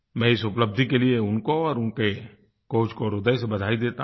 मैं इस उपलब्धि के लिए उनको और उनके कोच को ह्रदय से बधाई देता हूँ